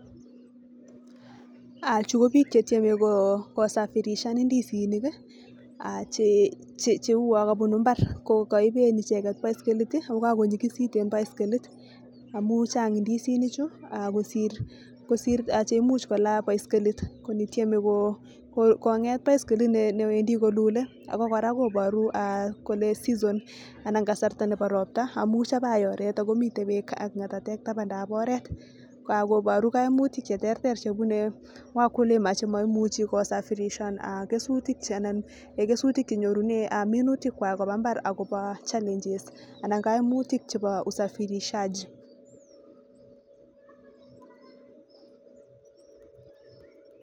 ah chu kobiik chetyeme ko safirishan ndisinik cheuo kabunu mbar ko kaiben icheket baskilit ako kakonyikisit eng baskilit akochang ndisinichu kosir cheimuch kola baskilit kotyeme konget baskilit newendi kolule ako kora koboru kole season anan kasarta nebo ropta amu chabai oret takomite beek ak ngatatek tabandab oret akoboru kaimutik cheterter chebune wakulima chemaimuchi kosafirishan kesutik anan minutik kobun mbar akobo challenges anan kaimutik chebo usafirishaji.